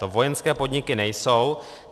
To vojenské podniky nejsou.